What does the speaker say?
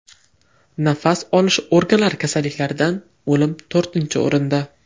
Nafas olish organlari kasalliklaridan o‘lim to‘rtinchi o‘rinda.